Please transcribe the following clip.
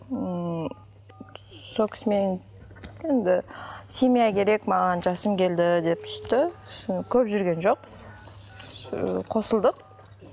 ммм сол кісімен енді семья керек маған жасым келді деп сөйтті сосын көп жүрген жоқпыз ыыы қосылдық